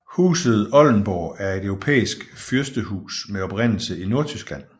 Huset Oldenborg er et europæisk fyrstehus med oprindelse i Nordtyskland